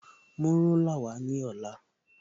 Mú rúlà wá ní ọ̀la